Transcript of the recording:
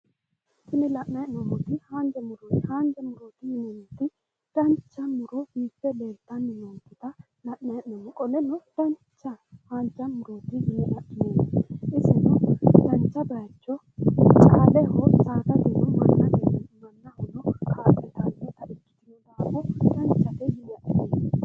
Tini la'nayi hee'noommoti haanja murooti. Haanha murooti yineemmoti dancha muro mitte leeltanni noota la"ayi hee'noommo. Qoleno dancha haanja murooti yine adhineemmote. Iseno dancha bayicho caaleho saadateno mannahono kaa'litannota ikkitino daafo danchate yine adhineemmo. Danchate yine adhineemmote.